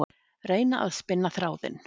Reyna að spinna þráðinn